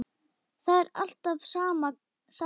Það er alltaf sama sagan.